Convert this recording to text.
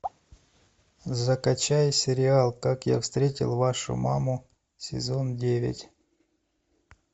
закачай сериал как я встретил вашу маму сезон девять